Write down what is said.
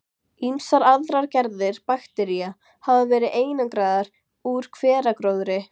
Ýmsar aðrar gerðir baktería hafa verið einangraðar úr hveragróðri.